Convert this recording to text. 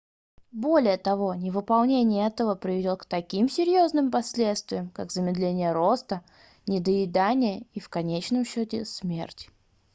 более того невыполнение этого приведёт к таким серьёзным последствиям как замедление роста недоедание и в конечном счёте смерть